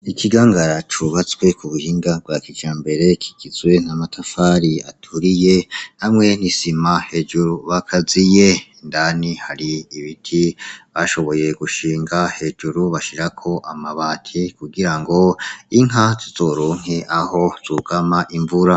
Ikigangara cubatswe kubuhinga bwa kijambere kigizwe n’amatafari aturiye hamwe n’isima hejuru bakaziye, indani hari ibiti bashoboye gushinga hejuru bashirako amabati kugira ngo inka zizoronke aho zugama imvura.